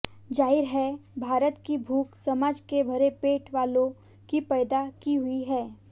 जाहिर है भारत की भूख समाज के भरे पेट वालों की पैदा की हुई है